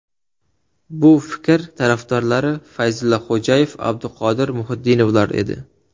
Bu fikr tarafdorlari Fayzulla Xo‘jayev, Abduqodir Muhitdinovlar edi.